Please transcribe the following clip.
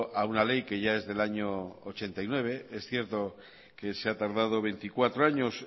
a una ley que ya es del año mil novecientos ochenta y nueve es cierto que se ha tardado veinticuatro años